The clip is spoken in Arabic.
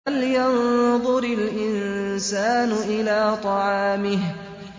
فَلْيَنظُرِ الْإِنسَانُ إِلَىٰ طَعَامِهِ